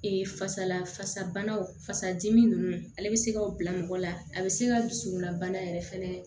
fasala fasabanaw fasa dimi nunnu ale be se ka bila mɔgɔ la a be se ka dusukunbana yɛrɛ fɛnɛ